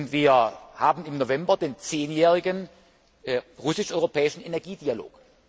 Wir haben im November den zehnjährigen russisch europäischen Energiedialog.